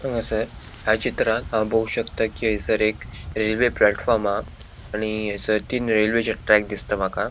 हागासर या चित्रांत हांव पोवो शकता कि हयसर एक रेल्वे प्लेटफॉर्म हा आणि हयसर तीन रेल्वेचे ट्रेक दिसता माका.